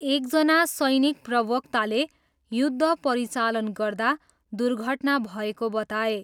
एकजना सैनिक प्रवक्ताले युद्ध परिचालन गर्दा दुर्घटना भएको बताए।